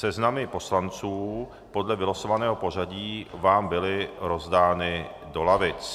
Seznamy poslanců podle vylosovaného pořadí vám byly rozdány do lavic.